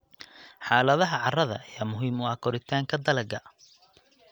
Xaaladaha carrada ayaa muhiim u ah koritaanka dalagga.